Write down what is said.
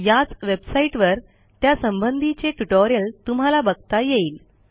याच वेबसाईटवर त्यासंबंधीचे ट्युटोरियल तुम्हाला बघता येईल